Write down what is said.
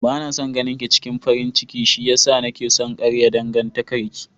Bana son ganinki cikin farin ciki shiyasa nake son karya dangantakar ki.